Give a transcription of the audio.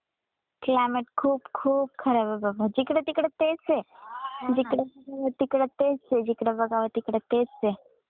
Climate खूप खूप खराब ए बाबा जिकडे तिकडे तेच ए जिकडे तिकडे जिकड बघाव तेच ए.